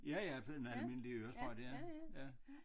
Ja ja det er en almindelig øresprøjte ja ja